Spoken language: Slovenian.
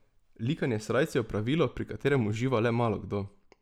Likanje srajc je opravilo pri katerem uživa le malokdo.